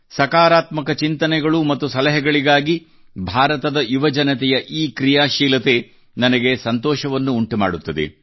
ಸಕಾರಾತ್ಮಕ ಚಿಂತನೆಗಳು ಮತ್ತು ಸಲಹೆಗಳಿಗಾಗಿ ಭಾರತದ ಯುವಜನತೆಯ ಈ ಕ್ರಿಯಾಶೀಲತೆ ನನಗೆ ಸಂತೋಷವನ್ನುಂಟುಮಾಡುತ್ತದೆ